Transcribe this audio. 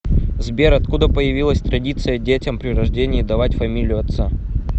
сбер откуда появилась традиция детям при рождении давать фамилию отца